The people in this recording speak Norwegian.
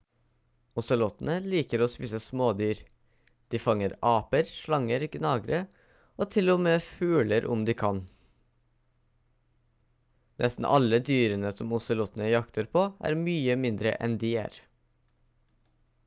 ozelotene liker å spise smådyr de fanger aper slanger gnagere og til og med fugler om de kan nesten alle dyrene som ozelotene jakter på er mye mindre enn de er